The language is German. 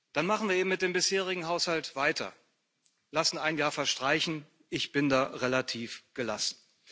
Dann machen wir eben mit dem bisherigen Haushalt weiter, lassen ein Jahr verstreichen ich bin da relativ gelassen.